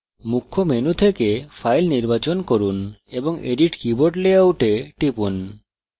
মুখ্য menu থেকে file নির্বাচন from এবং edit keyboard layout এ টিপুন